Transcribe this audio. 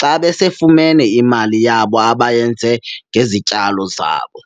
xa besefumene imali yabo abayenze ngezityalo zabo.